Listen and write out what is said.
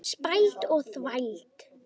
Spæld og þvæld.